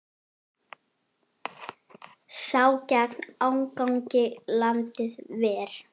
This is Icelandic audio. Sá gegn ágangi landið ver.